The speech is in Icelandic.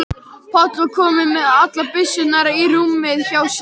Páll var kominn með allar byssurnar í rúmið hjá sér.